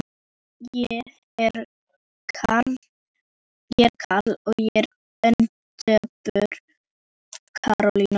Ég er Kal, og ég er ein döpur kaloría.